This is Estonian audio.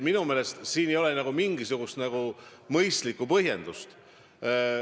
Minu meelest siin ei ole mingisugust mõistlikku põhjendust.